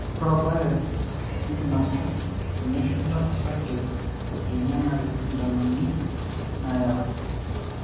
ore orbae na enkinosa ,teneshula osarge o tenengari sindanoni nayau